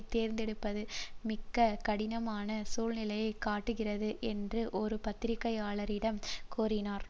தேர்ந்தெடுப்பது மிக கடினமான சூழ்நிலையை காட்டுகிறது என்று ஒரு பத்திரிகையாளரிடம் கூறினார்